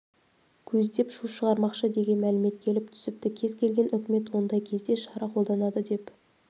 көздеп шу шығармақшы деген мәлімет келіп түсіпті кез келген үкімет ондай кезде шара қолданады деп